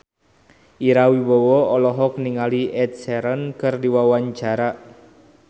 Ira Wibowo olohok ningali Ed Sheeran keur diwawancara